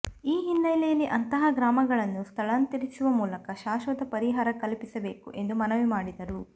ಈ ಹಿನ್ನೆಲೆಯಲ್ಲಿ ಅಂತಹ ಗ್ರಾಮಗಳನ್ನು ಸ್ಥಳಾಂತರಿಸುವ ಮೂಲಕ ಶಾಶ್ವತ ಪರಿಹಾರ ಕಲ್ಪಿಸಬೇಕು ಎಂದು ಮನವಿ ಮಾಡಿದರು